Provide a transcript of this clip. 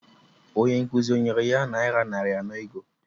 Ndị nkụzi o nyere ya akpa ego abụọ?